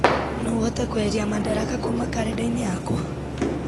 no ũhote kweheria madaraka kuma karenda-inĩ yakwa